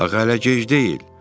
Axı hələ gec deyil.